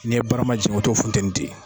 N'i ye barama jigin o t'o funteni ten.